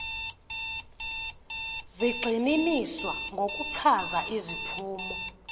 zigxininiswa ngokuchaza iziphumo